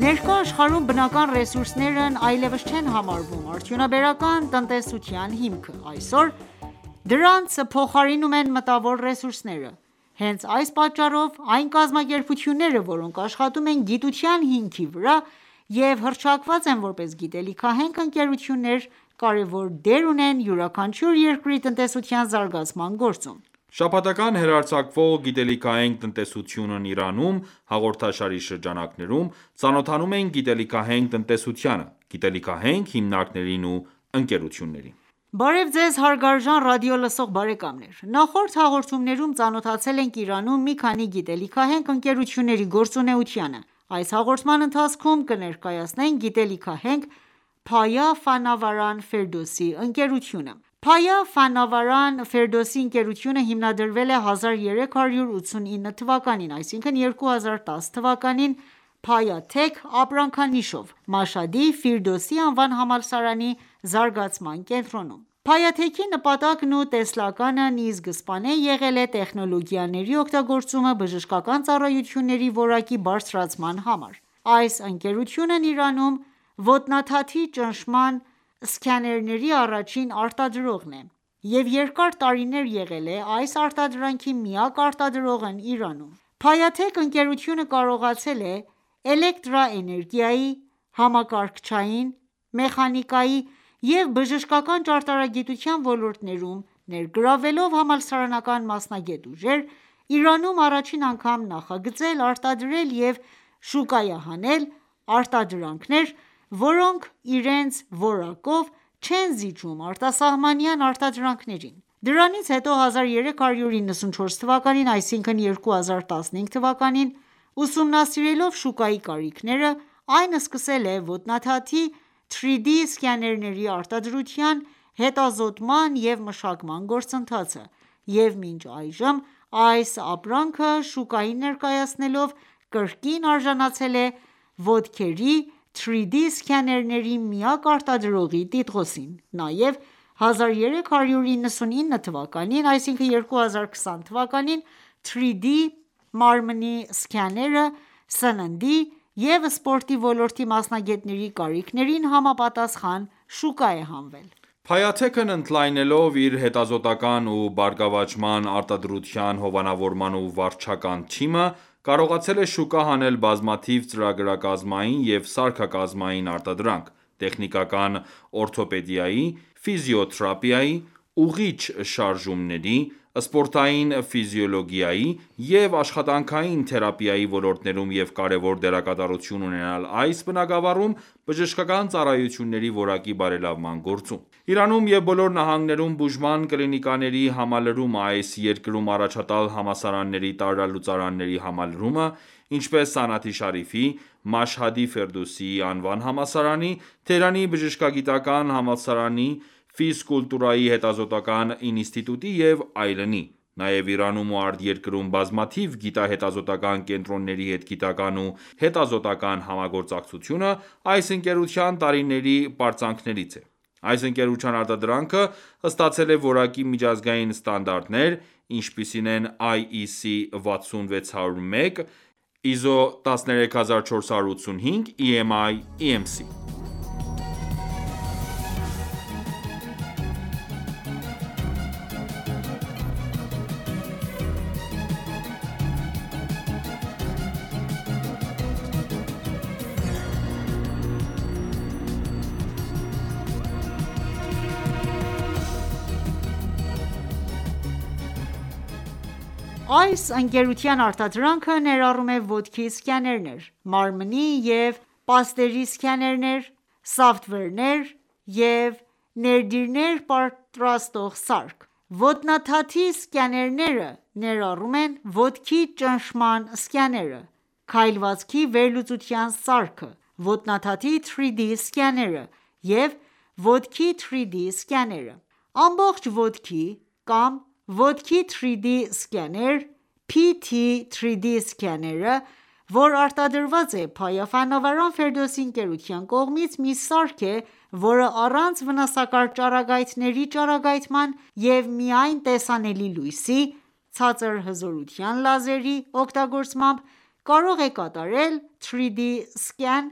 Ներկա աշխարհում բնական ռեսուրսներն այլևս չեն համարվում արդյունաբերական տնտեսության հիմքը: Այսօր դրանց փոխարինում են մտավոր ռեսուրսները: Հենց այս պատճառով, այն կազմակերպությունները, որոնք աշխատում են գիտության հիմքի վրա և հռչակված են որպես գիտելիքահենք ընկերություններ, կարևոր դեր ունեն յուրաքանչյուր երկրի տնտեսության զարգացման գործում: Շաբաթական հեռարձակվող «Գիտելիքահենք տնտեսությունն Իրանում» հաղորդաշարի շրջանակներում, ծանոթանում ենք գիտելիքահենք տնտեսությանը, գիտելիքահենք հիմնարկներին ու ընկերություններին: Բարև Ձեզ հարգարժան ռադիոլսող բարեկամներ: Նախորդ հաղորդումներում ծանոթացել ենք Իրանում մի քանի գիտելիքահենք ընկերությունների գործունեությանը։ Այս հաղորդման ընթացքում կներկայացնենք գիտելիքահենք «Փայա Ֆանավարան Ֆերդոսի» ընկերությունը։ «Փայա ֆանավարան Ֆերդոսի ընկերությունը» հիմնադրվել է 1389թվականին (2010 թ.) «Փայա Թեք » ապրանքանիշով, Մաշհադի «Ֆիրդուսի»-ի անվան համալսարանի զարգացման կենտրոնում։«Փայա Թեք»-ի նպատակն ու տեսլականն ի սկզբանե եղել է տեխնոլոգիաների օգտագործումը բժշկական ծառայությունների որակի բարձրացման համար:Այս ընկերությունն Իրանում ոտնաթաթի ճնշման սքաներների առաջին արտադրողն է և երկար տարիներ եղել է այս արտադրանքի միակ արտադրողն Իրանում:«Փայաթեք»ընկերութիւնը կարողացել է էլեկտրաէներգիայի, համակարգչային, մեխանիկայի և բժշկական ճարտարագիտության ոլորտներում ներգրավվելով համալսարանական մասնագետ ուժեր, Իրանում առաջին անգամ նախագծել, արտադրել և շուկայահանել է արտադրանքներ, որոնք իրենց որակով չեն զիջում արտասահմանյան արտադրանքին:Դրանից հետո 1394 թվականին (2015 թ.), ուսումնասիրելով շուկայի կարիքները, այն սկսել է ոտնաթաթի 3D սկաներների արտադրության հետազոտման և մշակման գործընթացը, և մինչ այժմ, այս ապրանքը շուկային ներկայացնելով, կրկին արժանացել է ոտքերի 3D սկաներների միակ արտադրողի տիտղոսին:Նաև 1399թվականին (2020 թ.) 3D մարմնի սկաները սննդի և սպորտի ոլորտի մասնագետների կարիքներին համապատասխան շուկա է հանվել: «ՓայաԹեք»-ն ընդլայնելով իր հետազոտական ու բարգավաճման ,արտադրության, հովանավորման ու վարչական թիմը ,կարողացել է շուկա հանել բազմաթիվ ծրագրակազմային և սարքակազմային արտադրանք՝ տեխնիկական օրթոպեդիայի, ֆիզիոթերապիայի, ուղղիչ շարժումների, սպորտային ֆիզիոլոգիայի և աշխատանքային թերապիայի ոլորտներում և կարևոր դերակատարություն ունենալ այս բնագավառում բժշկական ծառայությունների որակի բարելավման գործում:Իրանում և բոլոր նահանգներում բուժման կլինիկաների համալրումը, այս երկրում առաջատար համալսարնների տարրալուծարանների համալրումը, ինչպես՝Սանաթի Շարիֆի, Մաշհադի «Ֆիրդուս»-ի անվան համալսարանի, Թեհրանի բժշկագիտական համալսարանի ,ֆիզկուլտուրայի հետազոտական ինստիտուտի և այլնի..., նաև Իրանում ու արտերկրում բազմաթիվ գիտահետազոտական կենտրոնների հետ գիտական ու հետազոտական համագործակցությունը ,այս ընկերության տարիների պարծանքներից է: Այս ընկերության արտադրանքը ստացել է որակի միջազգային ստանդարտներ (IEC60601-1, ISO13485, EMI/EMC): Այս ընկերության արտադրանքը ներառում է ոտքի սկաներներ, մարմնի և պաստերի սկաներներ, սոֆթվերներ և ներդիրներ պատրաստող սարք:Ոտնաթաթի սկաներները ներառում են ոտքի ճնշման սկաները, քայլվածքի վերլուծության սարքը, ոտնաթաթի 3D սկաները և ոտքի 3D սկաները:Ամբողջ ոտքի կամ ոտքի 3D սկաներ PT-3Dսկաները,որ արտադրված է «Փայա Ֆանավարան Ֆերդոսի» ընկերության կողմից, մի սարք է, որը առանց վնասակար ճառագայթների ճառագայթման ,և միայն տեսանելի լույսի (ցածր հզորության լազեր) -ի օգտագործմամբ կարող է կատարել 3D սկան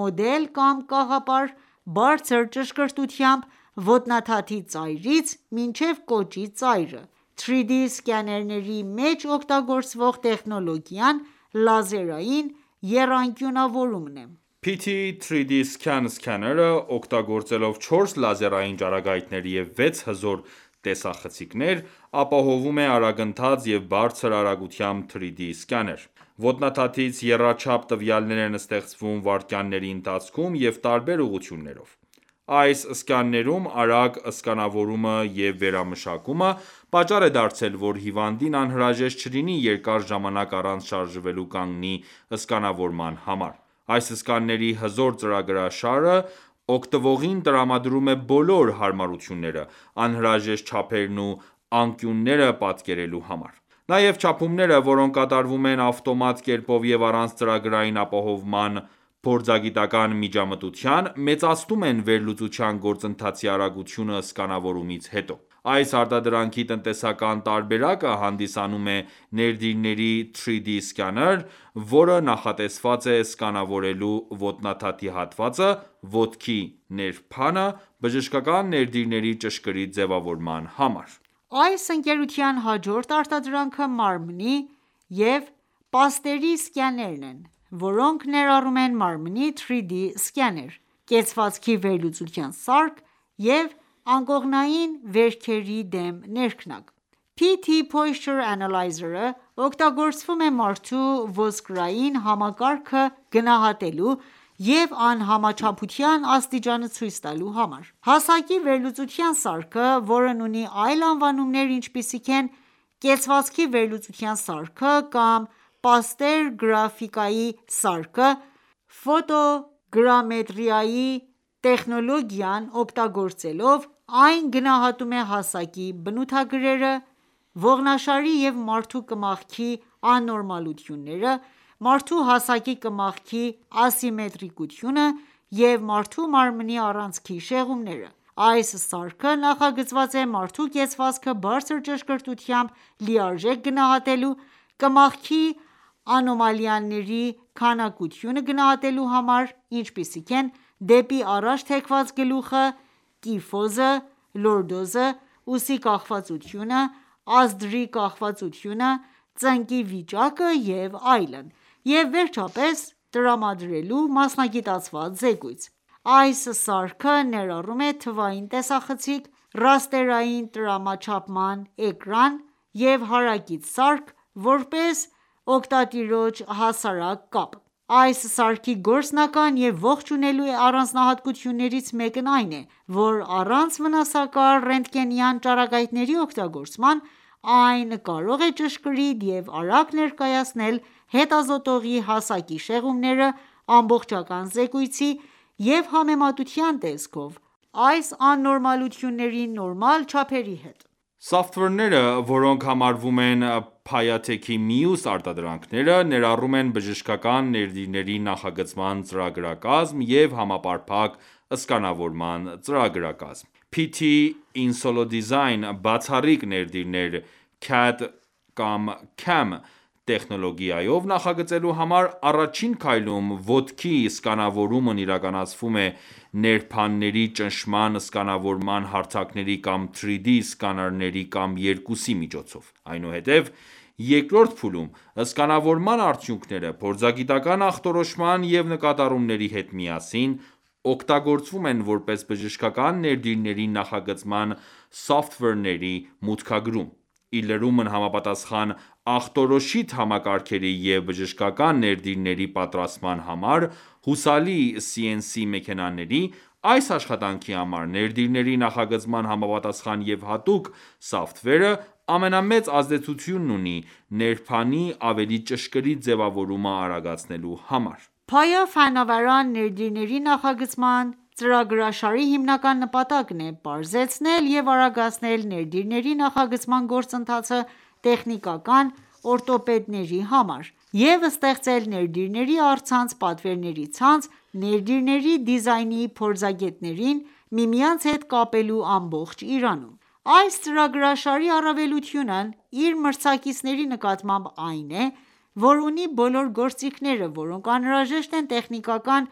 (մոդել կամ կաղապար) բարձր ճշգրտությամբ՝ոտնաթաթի ծայրից մինչև կոճի ծայրը:3D սկաների մեջ օգտագործվող տեխնոլոգիան ԼԱԶԵՐԱՅԻՆ եռանկյունավորումն է։ Ամբողջ ոտքի 3D սկաներ կամ ոտքի 3D սկաներ, PT-3DScan PT-3DSCAN Scanner- ը օգտագործելով չորս լազերային ճառագայթներ եւ վեց հզոր տեսախցիկներ, ապահովում է արագընթաց եւ բարձր արագությամբ 3D սկաներ:Ոտնաթաթից եռաչափ տվյալներ են ստեղծվում վայրկյանների ընթացքում եւ տարբեր ուղղություններով:Այս սկաներում արագ սկանավորումը և վերամշակումը պատճառ է դարձել ,որ հիվանդին անհրաժեշտ չլինի երկար ժամանակ առանց շարժվելու կանգի սկանավորման համար :Այս սկաների հզոր ծրագրաշարը օգտվողին տրամադրում է բոլոր հարմարությունները՝ անհրաժեշտ չափերն ու անկյունները պատկերելու համար:Նաև չափումները, որոնք կատարվում են ավտոմատ կերպով և առանց ծրագրային ապահովման փորձագիտական ​​միջամտության, մեծացնում են վերլուծության գործընթացի արագությունը սկանավորումից հետո:Այս արտադրանքի տնտեսական տարբերակը հանդիսանում է ներդիրների 3D սկաներ, որը նախատեսված է սկանավորելու ոտնաթաթի հատվածը (ոտքի ներբանը) բժշկական ներդիրների ճշգրիտ ձևավորման համար: Այս ընկերության հաջորդ արտադրանքը մարմնի և պաստերի սկաներներն են, որոնք ներառում են մարմնի 3D սկաներ, կեցվածքի վերլուծության սարք և անկողնային վերքերի դեմ ներքնակ։ PT-Posture Analyzer-ը օգտագործվում է մարդու ոսկրային համակարգը գնահատելու և անհամաչափության աստիճանը ցույց տալու համար:Հասակի վերլուծության սարքը, որն ունի այլ անվանումներ, ինչպիսիք են՝ կեցվածքի վերլուծության սարքը կամ պաստերո գրաֆիայի սարքը, Ֆոտոգրամետրիայի տեխնոլոգիան օգտագործելով՝ այն գնահատում է հասակի բնութագրերը, ողնաշարի և մարդու կմախքի աննորմալությունները, մարդու հասակի կմախքի ասիմետրիկությունը և մարդու մարմնի առանցքի շեղումները:Այս սարքը նախագծված է մարդու կեցվածքը բարձր ճշգրտությամբ լիարժեք գնահատելու, կմախքի անոմալիաների քանակությունը գնահատելու համար, ինչպիսիք են դեպի առաջ թեքված գլուխը, կիֆոզը, լորդոզը, ուսի կախվածությունը, ազդրի կախվածությունը, ծնկի վիճակը և այլն, և վերջապես տրամադրելու մասնագիտացված զեկույց: Այս սարքը ներառում է թվային տեսախցիկ, ռաստերային տրամաչափման էկրան և հարակից սարք՝ որպես օգտատիրոջ հասարակ կապ: Այս սարքի գործնական և ողջունելի առանձնահատկություններից մեկն այն է, որ առանց վնասակար ռենտգենյան ճառագայթների օգտագործման, այն կարող է ճշգրիտ և արագ ներկայացնել հետազոտողի հասակի շեղումները ամբողջական զեկույցի և համեմատության տեսքով այս աննորմալությունների նորմալ չափերի հետ: Սոֆթվերները, որոնք համարվում են Փայաթեքի մյուս արտադրանքները, ներառում են բժշկական ներդիրների նախագծման ծրագրակազմ և համապարփակ սկանավորման ծրագրակազմ: PT-InsoleDesign բացառիկ ներդիրներ CAD/CAM տեխնոլոգիայով նախագծելու համար, առաջին քայլում ոտքի սկանավորումն իրականացվում է ներբանների ճնշման սկանավորման հարթակների կամ 3D սկաներների կամ երկուսի միջոցով:Այնուհետև, երկրորդ փուլում, սկանավորման արդյունքները փորձագիտական ​​ախտորոշման և նկատառումների հետ միասին օգտագործվում են որպես բժշկական ներդիրների նախագծման սոֆթվերների մուտքագրում:Ի լրումն համապատասխան ախտորոշիչ համակարգերի և բժշկական ներդիրների պատրաստման համար հուսալի CNC մեքենաների, այս աշխատանքի համար ներդիրների նախագծման համապատասխան և հատուկ սոֆթվերը ,ամենամեծ ազդեցությունն ունի ներբանի ավելի ճշգրիտ ձևավորումը արագացնելու համար: Payafnavaran ներդիրների նախագծման ծրագրաշարի հիմնական նպատակն է պարզեցնել և արագացնել ներդիրների նախագծման գործընթացը տեխնիկական օրթոպեդների համար և ստեղծել ներդիրների առցանց պատվերների ցանց՝ ներդիրների դիզայնի փորձագետներին միմյանց հետ կապելու ամբողջ Իրանում:Այս ծրագրաշարի առավելությունն իր մրցակիցների նկատմամբ այն է, որ ունի բոլոր գործիքները, որոնք անհրաժեշտ են տեխնիկական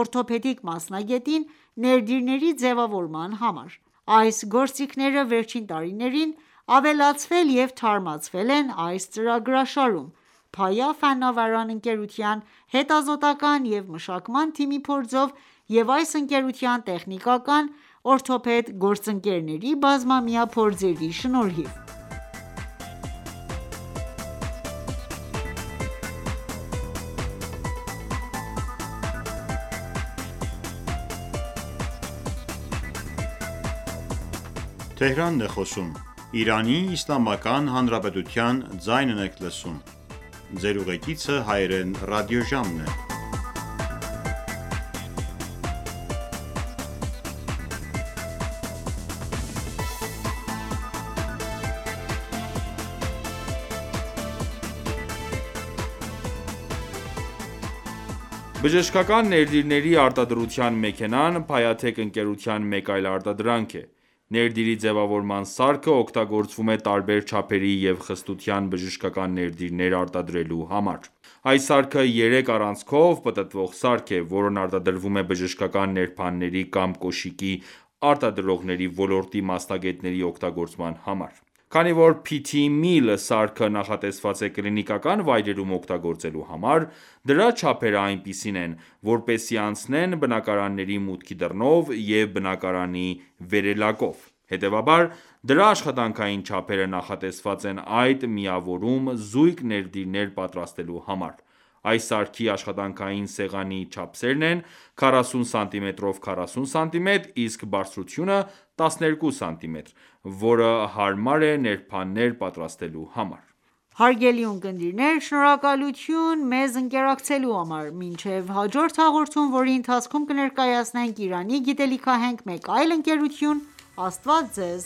օրթոպեդիկ մասնագետին ներդիրների ձևավորման համար:Այս գործիքները վերջին տարիներին ավելացվել և թարմացվել են այս ծրագրաշարում՝ «Փայա ֆանավարան» ընկերության հետազոտական ​​և մշակման թիմի փորձով և այս ընկերության տեխնիկական օրթոպեդ գործընկերների բազմամյա փորձերի շնորհիվ: Բացառիկ ներդիրների նախագծման ծրագրաշար PT-InsoleDesign՝ տեխնոլոգիայով Բժշկական ներդիրների արտադրության մեքենան «Փայաթեք» ընկերության մեկ այլ արտադրանք է:Ներդիրի ձևավորման սարքը օգտագործվում է տարբեր չափերի և խտության բժշկական ներդիրներ արտադրելու համար:Այս սարքը երեք առանցքով պտտվող սարք է, որն արտադրվում է բժշկական ներբանների կամ կոշիկի արտադրողների ոլորտի մասնագետների օգտագործման համար: Քանի որ PT-Mill սարքը նախատեսված է կլինիկական վայրերում օգտագործելու համար, դրա չափերը այնպիսին են, որպեսզի անցնեն բնակարանի մուտքի դռնով և բնակարանի վերելակով։ Հետևաբար, դրա աշխատանքային չափերը նախատեսված են այդ միավորում զույգ ներդիրներ պատրաստելու համար:Այս սարքի աշխատանքային սեղանի չափսերն են 40 սմ x 40 սմ, իսկ բարձրությունը՝ 12 սմ, որը հարմար է ներբաններ պատրաստելու համար: Բժշկական ներդիրների արտադրության սարք, Փայա Ֆանավարան Ֆիրդուսի ընկերության արտադրանքից Հարգարժան ունկնդիրներ շնորհակալություն մեզ ընկերակցելու համար, մինչև հաջորդ հաղորդում, որի ընթացքում կներկայացնենք Իրանի գիտելիքահենք մեկ այլ ընկերություն: Աստված ձեզ